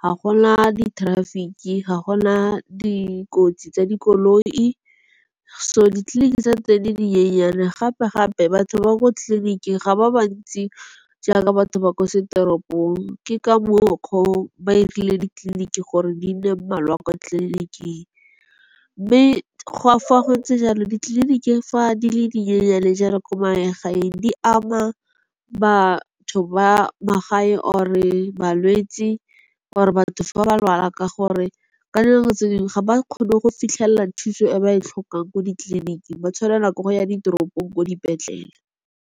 ga gona di-traffic-e. Ga gona dikotsi tsa dikoloi. So, ditleliniki tsa tse di le dinyenyane gape gape batho ba ko tleliniking ga ba ba ntsi jaaka batho ba ko seteropong. Ke ka mokgwa o ba 'irile ditleliniki gore di nne mmalwa kwa tleliniking. Mme go a fa go ntse jalo ditleliniki fa di le dinyenyane le jalo kwa magaeng. Di ama batho ba magae or balwetsi or batho fa ba lwala ka gore, ka dinako tse dingwe ga ba kgone go fitlhelela thuso e ba e tlhokang ko ditleliniking. Ba tshwanelwa ke go ya ditoropong ko dipetlele.